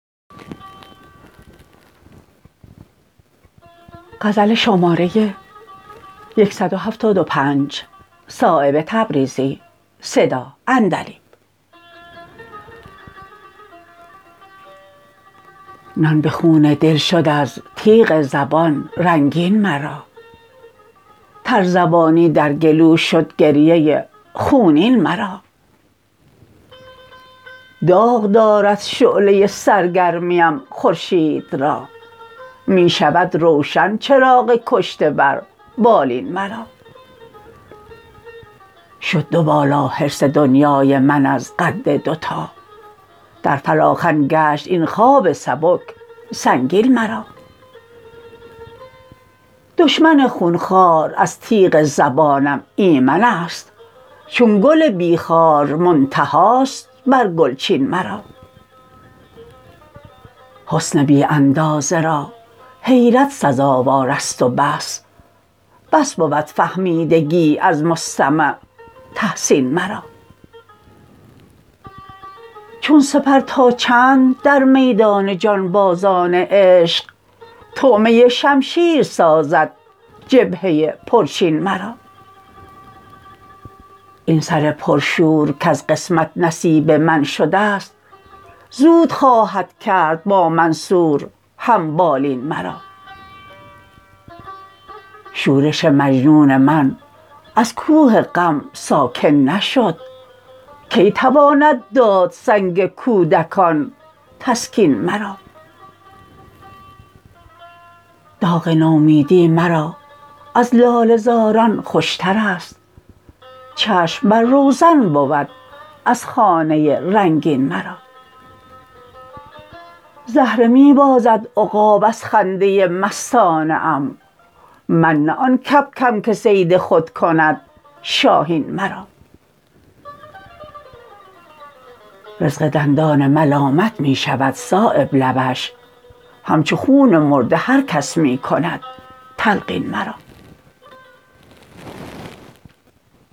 نان به خون دل شد از تیغ زبان رنگین مرا ترزبانی در گلو شد گریه خونین مرا داغ دارد شعله سرگرمیم خورشید را می شود روشن چراغ کشته بر بالین مرا شد دو بالا حرص دنیای من از قد دوتا در فلاخن گشت این خواب سبک سنگین مرا دشمن خونخوار از تیغ زبانم ایمن است چون گل بی خار منتهاست بر گلچین مرا حسن بی اندازه را حیرت سزاوارست و بس بس بود فهمیدگی از مستمع تحسین مرا چون سپر تا چند در میدان جانبازان عشق طعمه شمشیر سازد جبهه پرچین مرا این سر پر شور کز قسمت نصیب من شده است زود خواهد کرد با منصور هم بالین مرا شورش مجنون من از کوه غم ساکن نشد کی تواند داد سنگ کودکان تسکین مرا داغ نومیدی مرا از لاله زاران خوشترست چشم بر روزن بود از خانه رنگین مرا زهره می بازد عقاب از خنده مستانه ام من نه آن کبکم که صید خود کند شاهین مرا رزق دندان ملامت می شود صایب لبش همچو خون مرده هر کس می کند تلقین مرا